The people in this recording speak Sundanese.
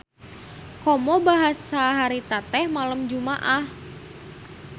Komo basa harita teh malem Jumaah.